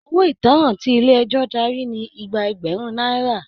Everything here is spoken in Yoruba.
Owó ìtanràn tí ilé ẹjọ darí ní igba ẹgbẹrun náírà.